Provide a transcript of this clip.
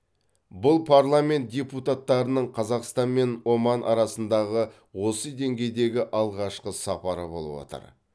бұл парламент депутаттарының қазақстан мен оман арасындағы осы деңгейдегі алғашқы сапары болып отыр